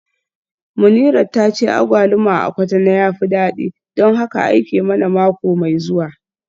Munirat tace agwaluma a Cotonou ya fi dadi don haka aike mana mako mai zuwa